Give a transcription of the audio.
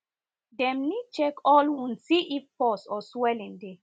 dem need check all wound see if pus or swelling dey